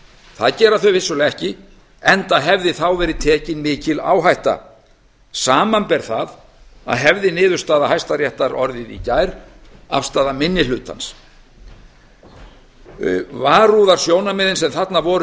það gera þau vissulega ekki enda hefði þá verið tekin mikil áhætta samanber það að hefði niðurstaða hæstaréttar orðið í gær afstaða minni hlutans varúðarsjónarmiðin sem þarna voru